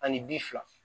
Ani bi fila